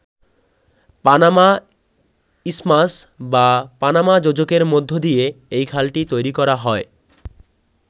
Panama isthmus বা Panama যোজকের মধ্য দিয়ে এই খালটি তৈরি করা হয়।